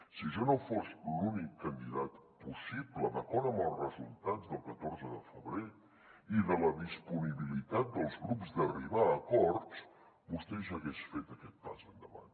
si jo no fos l’únic candidat possible d’acord amb els resultats del catorze de febrer i de la disponibilitat dels grups d’arribar a acords vostè ja hagués fet aquest pas endavant